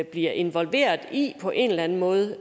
bliver involveret i på en eller anden måde